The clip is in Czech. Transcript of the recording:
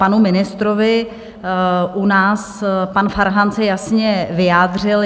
Panu ministrovi u nás pan Farhan se jasně vyjádřil.